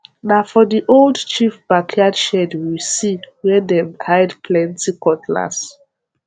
na for the old chief backyard shed we see where dem hide plenty cutlass